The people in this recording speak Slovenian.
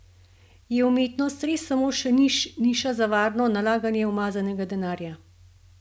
Je umetnost res samo še niša za varno nalaganje umazanega denarja?